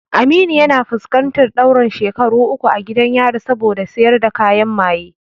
Aminu yana fuskantar ɗaurin shekaru uku a gidan yari saboda sayar da kayan maye.